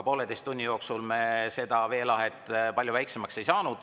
Poolteise tunni jooksul me seda veelahet palju väiksemaks ei saanud.